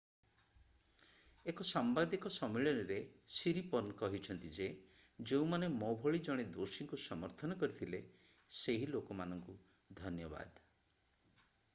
ଏକ ସାମ୍ବାଦିକ ସମ୍ମିଳନୀରେ ସିରିପର୍ନ କହିଛନ୍ତି ଯେ ଯେଉଁମାନେ ମୋ ଭଳି ଜଣେ ଦୋଷୀଙ୍କୁ ସମର୍ଥନ କରିଥିଲେ ସେହି ଲୋକମାନଙ୍କୁ ଧନ୍ୟବାଦ